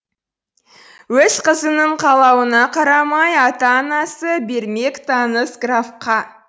өз қызыңның қалауына қарамай ата анасы бермек таныс графқа